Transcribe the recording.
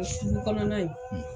O sugu kɔnɔna ye.